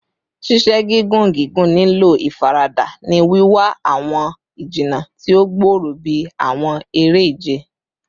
Ṣiṣe gigun gigun nilo ifarada, ni wiwa awọn ijinna ti o gbooro bi awọn ere-ije